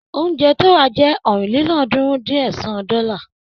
Oúnjẹ tó rà jẹ́ ọ̀rìnlélọ́ọ̀ọ́dúnrún-dín-ẹ̀sán dọ́là.